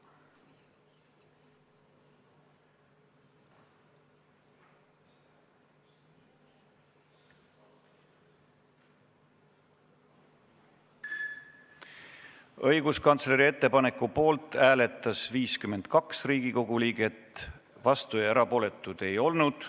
Hääletustulemused Õiguskantsleri ettepaneku poolt hääletas 52 Riigikogu liiget, vastuolijaid ega erapooletuid ei olnud.